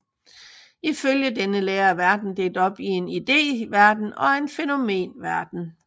Ifølge denne lære er verden delt op i en ideverden og en fænomenverden